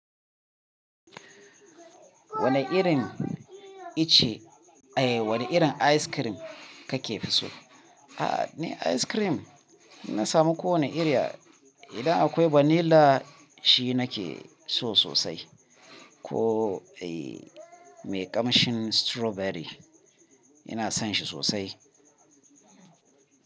Wane irin ice, eh wane irin ice cream kake fi so? Ah, ni ice cream na samu ko wane irin ya, idan akwai vanilla shi na ke so sosai. Ko eh mai kamshin strawberry ina son shi sosai.